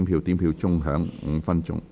表決鐘會響5分鐘。